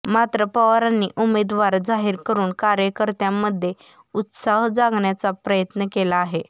मात्र पवारांनी उमेदवार जाहीर करून कार्यकर्त्यांमध्ये उत्साह जागवण्याचा प्रयत्न केला आहे